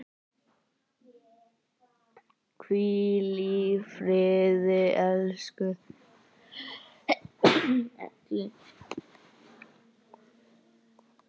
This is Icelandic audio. Hvíl í friði, elsku Elli.